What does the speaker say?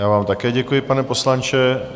Já vám také děkuji, pane poslanče.